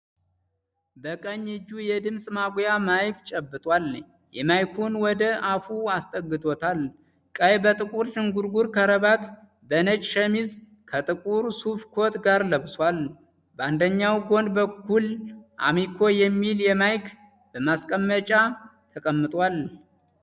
በቀኝ እጁ የድምፅ ማጉያ ማይክ ጨብጧል። ማይኩን ወደ አፉ አስጠግቶታል። ቀይ በጥቁር ዝንጉርጉር ከረባት በነጭ ሸሚዝ ከጥቁር የሱፍ ኮት ጋር ለብሷል። በአንደኛዉ ጎን በኩል "አሚኮ" የሚል ማይክ በማስቀመጫ ተቀምጧል።